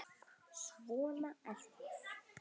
Svona er það.